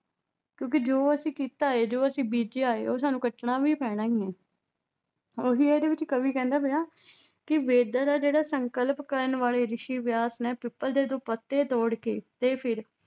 ਕਿਉਂਕਿ ਜੋ ਅਸੀਂ ਕੀਤਾ ਹੈ ਜੋ ਅਸੀਂ ਬੀਜਿਆ ਹੈ ਉਹ ਸਾਨੂੰ ਕੱਟਣਾ ਵੀ ਪੈਣਾ ਹੀ ਹੈ, ਉਹੀ ਇਹਦੇ ਵਿੱਚ ਕਵੀ ਕਹਿੰਦਾ ਪਿਆ ਕਿ ਵੇਦਾਂ ਦਾ ਜਿਹੜਾ ਸੰਕਲਪ ਕਰਨ ਵਾਲੇ ਰਿਸ਼ੀ ਵਿਆਸ ਨੇ ਪਿੱਪਲ ਦੇ ਦੋ ਪੱਤੇ ਤੋੜ ਕੇ ਤੇ ਫਿਰ